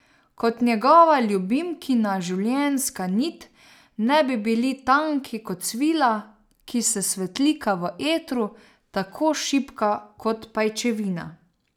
Kot da njegova in ljubimkina življenjska nit ne bi bili tanki kot svila, ki se svetlika v etru, tako šibka kot pajčevina.